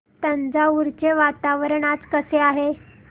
तंजावुर चे वातावरण आज कसे आहे